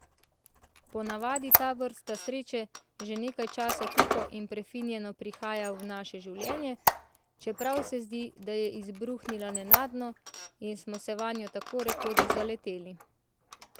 Po navadi ta vrsta sreče že nekaj časa tiho in prefinjeno prihaja v naše življenje, čeprav se zdi, da je izbruhnila nenadno in smo se vanjo tako rekoč zaleteli.